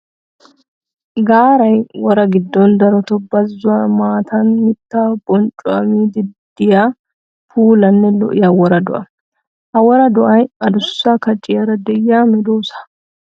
Gaaray wora gidon darotto bazzuwan maataan mitta bonccuwa miidi de'iya puulanne lo'iya wora do'a. Ha wora do'ay adussa kacciyara de'iya medosa.